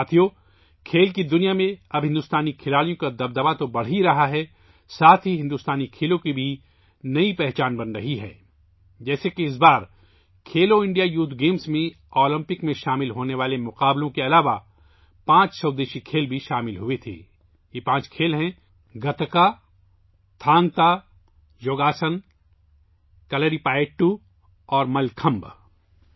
ساتھیو، کھیلوں کی دنیا میں اب ہندوستانی کھلاڑیوں کا دبدبہ تو بڑھ ہی رہا ہے، ساتھ ہی ہندوستانی کھیلوں کی ایک نئی شناخت بھی بن رہی ہے، جیسے کہ اس بار کھیلو انڈیا یوتھ گیمز میں اولمپک میں شامل ہونے والے مقابلوں کے علاوہ پانچ دیسی کھیلوں کو بھی شامل کیا گیا تھا، یہ پانچ کھیل ہیں گتکا، تھانگ تا، یوگاسن، کلریپایٹو اور ملّ کھمب